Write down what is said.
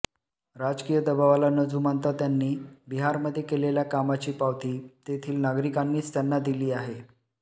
राजकीय दबावाला न जुमानता त्यांनी बिहारमध्ये केलेल्या कामाची पावती तेथील नागरिकांनीच त्यांना दिली आहे